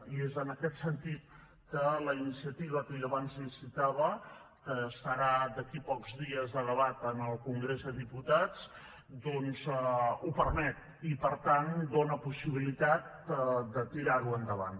i és en aquest sentit que la iniciativa que jo abans li citava que estarà d’aquí a pocs dies a debat en el congrés dels diputats doncs ho permet i per tant dona possibilitat de tirar ho endavant